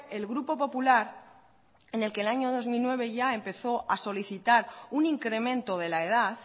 el grupo popular en el que en el año dos mil nueve empezó ya a solicitar un incremento de la edad